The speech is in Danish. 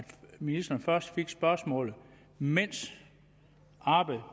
ministeren først fik spørgsmålet mens arbejdet